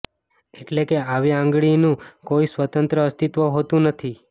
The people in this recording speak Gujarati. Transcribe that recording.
એટલે કે આવી આંગળીનું કોઈ સ્વતંત્ર અસ્તિત્વ હોતું નથી